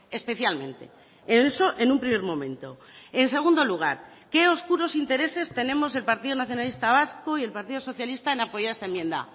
especialmente eso en un primer momento en segundo lugar qué oscuros intereses tenemos el partido nacionalista vasco y el partido socialista en apoyar esta enmienda